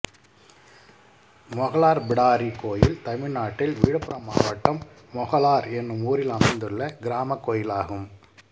மொகலார் பிடாரி கோயில் தமிழ்நாட்டில் விழுப்புரம் மாவட்டம் மொகலார் என்னும் ஊரில் அமைந்துள்ள கிராமக் கோயிலாகும்